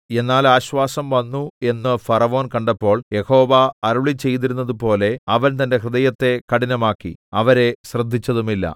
എന്നാൽ ആശ്വാസം വന്നു എന്ന് ഫറവോൻ കണ്ടപ്പോൾ യഹോവ അരുളിച്ചെയ്തിരുന്നതുപോലെ അവൻ തന്റെ ഹൃദയത്തെ കഠിനമാക്കി അവരെ ശ്രദ്ധിച്ചതുമില്ല